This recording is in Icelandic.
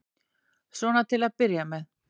Svona til að byrja með.